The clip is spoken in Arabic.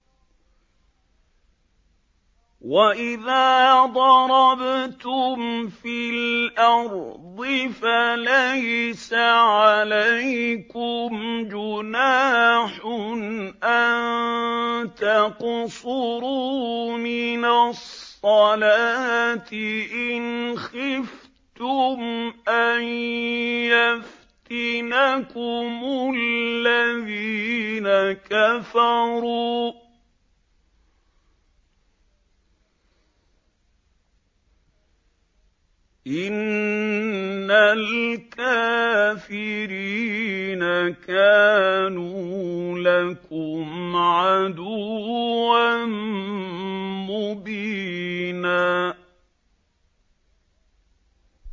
وَإِذَا ضَرَبْتُمْ فِي الْأَرْضِ فَلَيْسَ عَلَيْكُمْ جُنَاحٌ أَن تَقْصُرُوا مِنَ الصَّلَاةِ إِنْ خِفْتُمْ أَن يَفْتِنَكُمُ الَّذِينَ كَفَرُوا ۚ إِنَّ الْكَافِرِينَ كَانُوا لَكُمْ عَدُوًّا مُّبِينًا